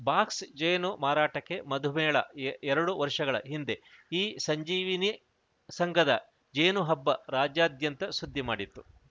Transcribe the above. box ಜೇನು ಮಾರಾಟಕ್ಕೆ ಮಧುಮೇಳ ಎ ಎರಡು ವರ್ಷಗಳ ಹಿಂದೆ ಈ ಸಂಜೀವಿನ ಸಂಘದ ಜೇನು ಹಬ್ಬ ರಾಜ್ಯಾದ್ಯಂತ ಸುದ್ದಿ ಮಾಡಿತ್ತು